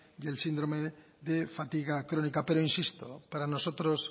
y el síndrome de fatiga crónica pero insisto para nosotros